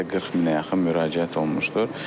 Ümumilikdə 40 minə yaxın müraciət olunmuşdur.